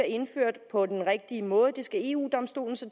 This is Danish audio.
indført på den rigtige måde det skal eu domstolen så